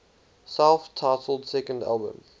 self titled second album